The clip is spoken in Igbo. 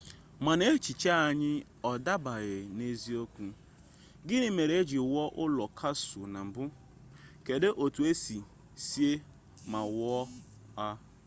mana echiche anyị ọ dabeere n'eziokwu gini mere eji wuo ụlọ kasụl na mbụ kedụ otu esi see ma wuo ha